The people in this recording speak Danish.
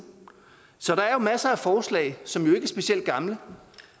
så der er masser af forslag som jo ikke er specielt gamle